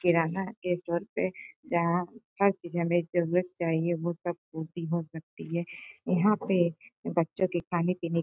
किराना के स्टोर पे जहाँ हर चीजें हमे जरूरत से चाहिए वो सब पूर्ति हो सकती है। यहाँ पे बच्चों के खाने पीने की --